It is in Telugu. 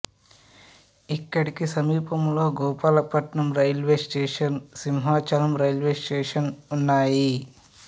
ఇక్కడికి సమీపంలో Gopalapatnam railway station Simhachalam railway station ఉన్నాయి